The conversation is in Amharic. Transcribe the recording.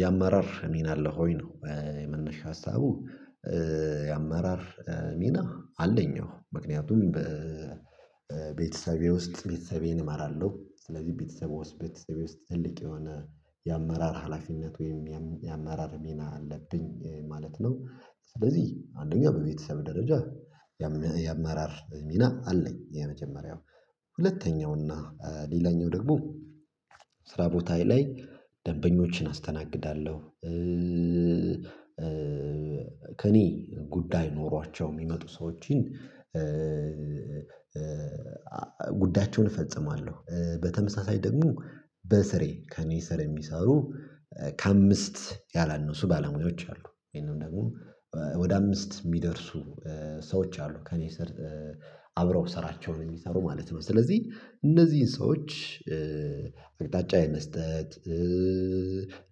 የአመራር ሚና አለ ወይ ነው? የመነሻ ሀሳቡ የአመራር ሚና አለኝ ነው። ምክንያቱም በቤተሰቤ ውስጥ ቤተሰቤን እመራለሁ ስለዚህ ቤተሰቦስ ቤተሰቤ ውስጥ ትልቅ የሆነ የአመራር ሀላፊነት ወይም የአመራር ሚና አለብኝ ማለት ነው። ስለዚህ አንደኛው በቤተሰብ ደረጃ የአመራር ሚና አለኝ። የመጀመሪያው ሁለተኛው እና ሌላኛው ደግሞ ስራ ቦታ ላይ ደንበኞችን አስተናግዳለሁ። ከእኔ ጉዳይ ኖሯቸው የሚመጡ ሰዎችን ጉዳያቸውን እፈጽማለሁ። በተመሳሳይ ደግሞ በስሬ ከእኔ ስር የሚሰሩ ከአምስት ያላነሱ ባለሙያዎች አሉ። ወይም ደግሞ ወደ አምስት የሚደርሱ ሰዎች አሉ። ከእኔ ስር አብረው ስራቸውን የሚሰሩ ማለት ነው። ስለዚህ እነዚህን ሰዎች አቅጣጫ የመስጠት